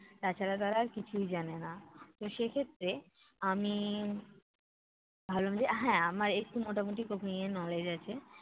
তাছাড়া তারা আর কিছুই জানে না। তো সেক্ষেত্রে আমি ভাবলাম যে, হ্যাঁ, আমার একটু মোটামোটি cooking এর knowledge আছে।